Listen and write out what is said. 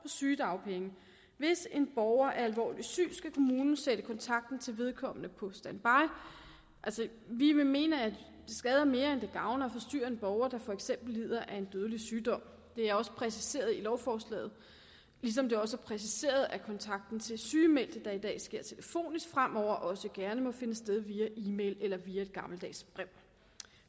sygedagpenge hvis en borger er alvorligt syg skal kommunen sætte kontakten til vedkommende på standby altså vi vil mene at det skader mere end det gavner at forstyrre en borger der for eksempel lider af en dødelig sygdom det er også præciseret i lovforslaget ligesom det også er præciseret at kontakten til sygemeldte der i dag sker telefonisk fremover også gerne må finde sted via e mail eller via et gammeldags brev